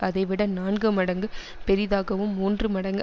அதைவிட நான்கு மடங்கு பெரிதாகவும் மூன்று மடங்கு